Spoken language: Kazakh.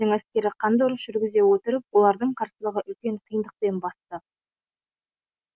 әскері қанды ұрыс жүргізе отырып олардың қарсылығын үлкен қиындықпен басты